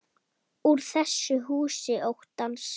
Úr þessu húsi óttans.